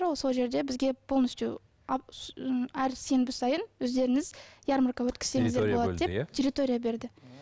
сол жерде бізге полностью әр сенбі сайын өздеріңіз ярмарка өткізсеңіздер болады деп территория берді